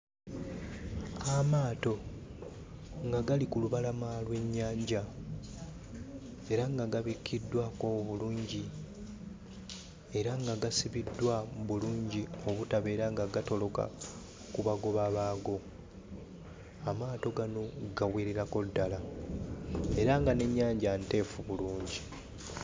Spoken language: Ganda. Amaato nga gali ku lubalama lw'ennyanja era nga gabikkiddwako bulungi, era nga gasibiddwa bulungi obutabeera nga gatoloka ku bagoba baago. Amaato gano gawererako ddala era nga n'ennyanja nteefu bulungi.